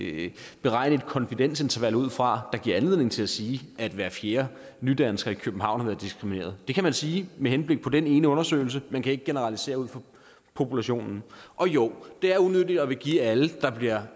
ikke beregne et konfidensinterval ud fra der giver anledning til at sige at hver fjerde nydansker i københavn har været diskrimineret det kan man sige med henblik på den ene undersøgelse men man kan ikke generalisere ud fra populationen og jo det er unyttigt det vil give alle der bliver